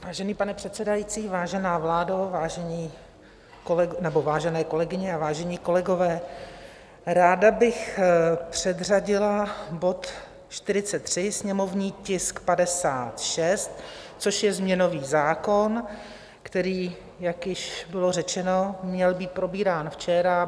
Vážený pane předsedající, vážená vládo, vážené kolegyně a vážení kolegové, ráda bych předřadila bod 43, sněmovní tisk 56, což je změnový zákon, který, jak již bylo řečeno, měl být probírán včera.